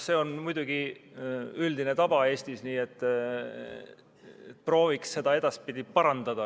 See on muidugi Eestis üldine tava, aga ehk prooviks siiski seda edaspidi parandada.